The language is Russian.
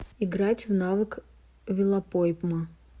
играть в навык велопойма